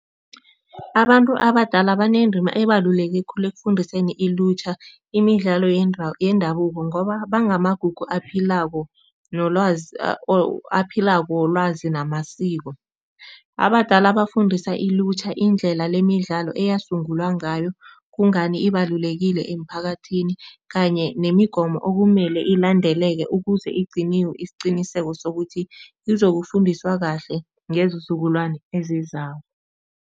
Abantu abadala banendima ebaluleke khulu ekufundiseni ilutjha imidlalo yendabuko ngoba bangamagugu aphilako nolwazi aphilako welwazi namasiko. Abadala bafundisa ilutjha indlela lemidlalo eyasungulwa ngayo, kungani ibalulekile emphakathini kanye nemigomo okumele ilandeleke ukuze igciniwe isiqiniseko sokuthi izokufundiswa kahle ngeenzukulwane ezizako.